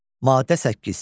Maddə 8.